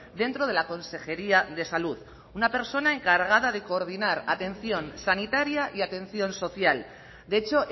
dentro de la consejería de salud una persona encargada de coordinar atención sanitaria y atención social de hecho